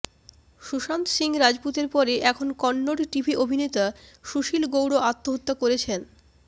সুশান্ত সিং রাজপুতের পরে এখন কন্নড় টিভি অভিনেতা সুশীল গৌড় আত্মহত্যা করেছেন